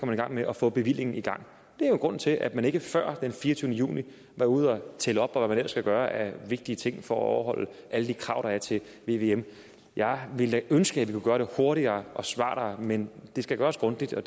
man i gang med at få bevillingen i gang det er jo grunden til at man ikke før den fireogtyvende juni var ude at tælle op og hvad man ellers skal gøre af vigtige ting for at overholde alle de krav der er til vvm jeg ville da ønske at vi kunne gøre det hurtigere og smartere men det skal gøres grundigt og